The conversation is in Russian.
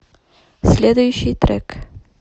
следующий трек